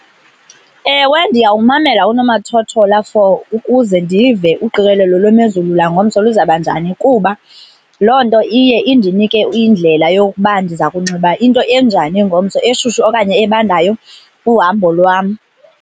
Ewe, ndiyawumamela unomathothola for ukuze ndive uqikelelo lwemozulu langomso luzaba njani kuba loo nto iye indinike indlela yokuba ndiza kunxiba into enjani ngomso, eshushu okanye ebandayo kuhambo lwam.